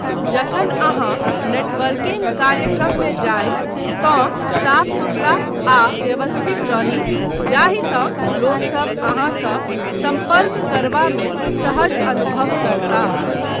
जखन अहाँ नेटवर्किंग कार्यक्रममे जाइ तँ साफ सुथरा आ व्यवस्थित रही जाहिसँ लोक सभ अहाँसँ सम्पर्क करबामे सहज अनुभव करताह।